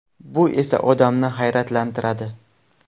Bu esa odamni hayratlantiradi.